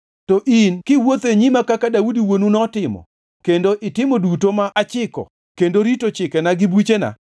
“To in kiwuotho e nyima kaka Daudi wuonu notimo kendo itimo duto ma achiko kendo rito chikena gi buchena,